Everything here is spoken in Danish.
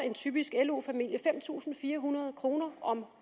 en typisk lo familie fem tusind fire hundrede kroner om